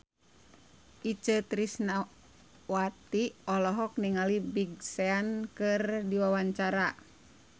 Itje Tresnawati olohok ningali Big Sean keur diwawancara